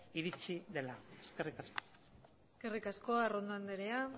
iritsi dela eskerrik asko eskerrik asko arrondo andrea